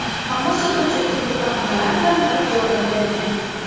Ammo sotuvchi turli bahonalar bilan rad javobini bergan.